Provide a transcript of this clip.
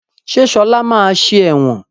Ṣé Ṣọlá máa ṣe ẹ̀wọ̀n?